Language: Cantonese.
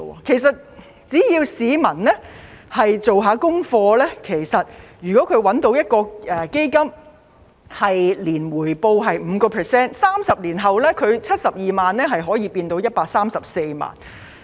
其實只要市民做一下功課，找到一個每年回報有 5% 的基金 ，30 年後72萬元可以變成134萬元。